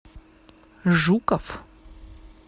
жуков